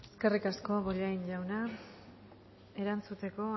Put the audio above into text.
eskerrik asko bollain jauna erantzuteko